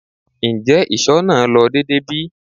Njẹ iṣọ naa lo deede bi?